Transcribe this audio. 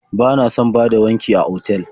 Bana son bada wanki a otal.